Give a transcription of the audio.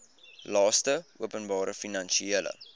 laste openbare finansiële